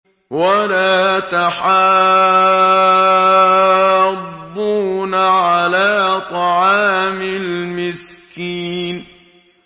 وَلَا تَحَاضُّونَ عَلَىٰ طَعَامِ الْمِسْكِينِ